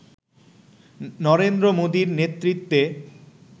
নরেন্দ্র মোদির নেতৃত্বে